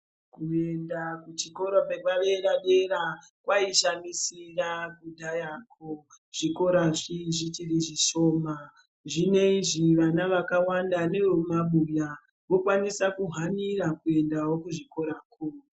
Kuenda kuchikora kwepaderadera kwaishamisira kudhaya ko zvikora zvichiri zvishoma zvinoizvi vana vakawanda nevemumabuya vokwanisa kuhanira kuendawo kuzvikora ko .